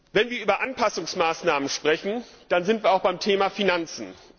Wenn wir über Anpassungsmaßnahmen sprechen, dann sind wir auch beim Thema Finanzen.